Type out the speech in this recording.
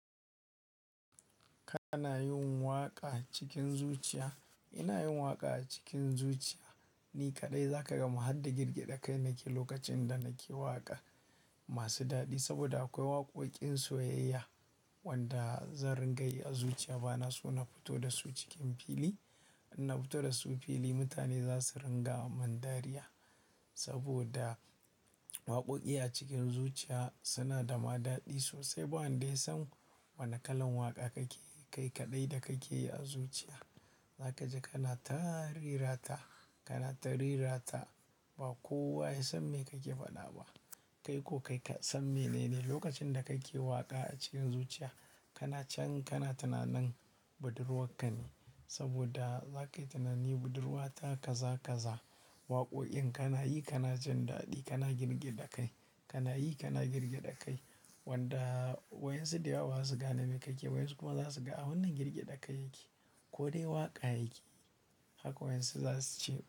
Kana yin waƙa cikin zuciya. Ina yin waƙa a cikin zuciya, ni kaɗai za ka gama har da girgade kai na ke lokacin da na ke waƙa masu daɗi. Saboda akwai waƙoƙin soyayya wanda zan ringa yi a zuciya. Ba na so na fito da su cikin fili. In na fito da su fili, mutane za su ringa mun dariya. Saboda waƙoƙi a cikin zuciya suna da ma daɗi sosai. Ba wanda ya san wane kalan waƙa kake yi, kai kaɗai da kake yi a zuciya. Za ka ji kana ta rera ta, kana ta rera ta ba kowa ya san me kake faɗa ba. Kai ko kai ka san menene lokacin da kake waƙa a cikin zuciya. Kana can kana tunanin budurwarka ne saboda za ka yi tunanin budurwata ka za ka za waƙoƙin kana yi kana jin daɗi kana girgade kai. Kana yi kana girgaɗa kai wanda wa'yansu da yawa ba za su gane me kake yi, wa'yansu kuma za su ga a wannan girgaɗa kai yake ko dai waƙa yake. Haka wa'yansu za su ce.